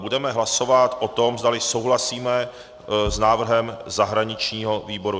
Budeme hlasovat o tom, zdali souhlasíme s návrhem zahraničního výboru.